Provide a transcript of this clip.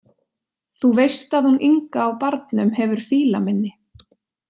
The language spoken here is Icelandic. Þú veist að hún Inga á Barnum hefur fílaminni.